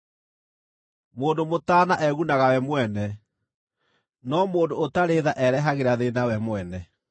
Mũndũ mũtaana egunaga we mwene, no mũndũ ũtarĩ tha erehagĩra thĩĩna we mwene.